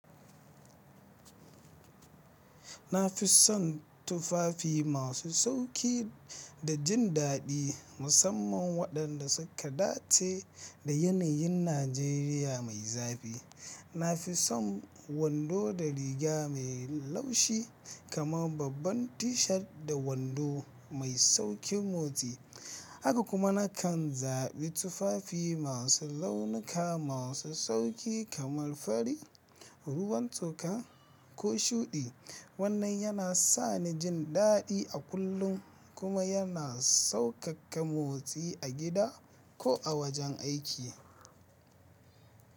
Na fi son tufafi masu sauƙi da jin daɗi musamman waɗanda suka dace da yanayin Najeriya mai zafi. Na fi son wando da riga mai laushi kamar babban T-shirt da wando mai sauƙin motsi. Haka kuma na kan zaɓi tufafi masu launuka masu sauƙi kamar fari, ruwan toka ko shuɗi. Wannan yana sa ni jin daɗi a kullum kuma yana sauƙaƙa motsi a gida ko a wajen aiki.